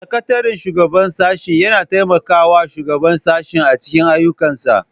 Sakataren shugaban sashe yana taimakawa shugaban sashe a cikin ayyukansa